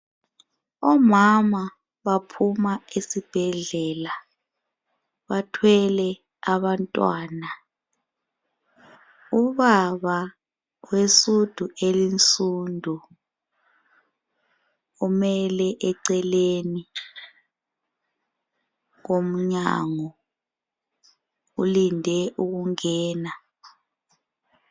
Omama baphuma esibhedlela bathwele abantwana, ubaba wesudu elinsudu umele eceleni komnyango ulinde ukungena.